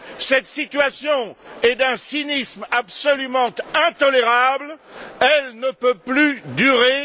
Cette situation est d'un cynisme absolument intolérable. Elle ne peut plus durer.